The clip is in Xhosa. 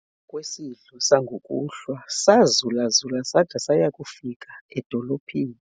emva kwesidlo sangokuhlwa sazulazula sada saya kufika edolophini